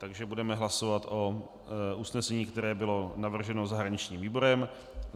Takže budeme hlasovat o usnesení, které bylo navrženo zahraničním výborem.